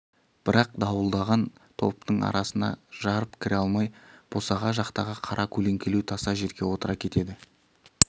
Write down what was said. бірақ дуылдаған топтың ортасына жарып кіре алмай босаға жақтағы қара көлеңкелеу таса жерге отыра кетеді